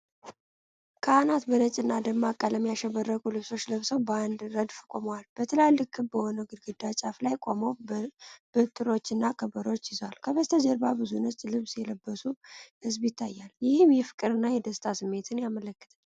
ካህናት በነጭና ደማቅ ቀለም ያሸበረቁ ልብሶች ለብሰው በአንድ ረድፍ ቆመዋል። በትላልቅ ክብ በሆነ ግድግዳ ጫፍ ላይ ቆመው፤ በትሮችና ከበሮ ይዘዋል። ከበስተጀርባ ብዙ ነጭ ልብስ የለበሰ ሕዝብ ይታያል፤ ይህም የፍቅርና የደስታ ስሜትን ያመለክታል።